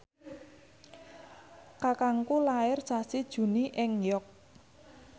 kakangku lair sasi Juni ing York